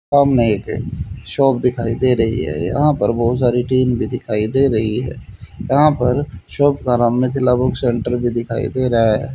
सामने एक शॉप दिखाई दे रही है यहां पर बहुत सारी टीन भी दिखाई दे रही है यहां पर शॉप का नाम मिथिला बुक सेंटर भी दिखाई दे रहा है।